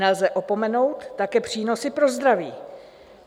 Nelze opomenout také přínosy pro zdraví.